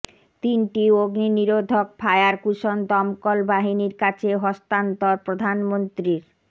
তিনটি অগ্নি নিরোধক ফায়ার কুশন দমকল বাহিনীর কাছে হস্তান্তর প্রধানমন্ত্রীর